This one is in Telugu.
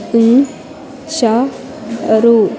ఇ చ్చ రు.